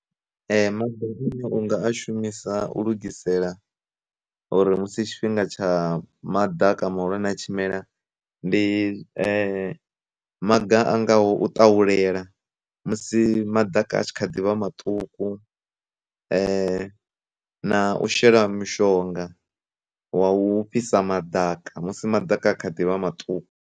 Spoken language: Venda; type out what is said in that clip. E, ma unga a shumisa u lugisela uri musi tshifhinga tsha madaka mahulwane tshimela, ndi maga a ngaho u ṱaulela musi maḓaka a tshi kha ḓivha maṱuku, na u shela mushonga wa u fhisa madaka musi madaka kha ḓivha maṱuku.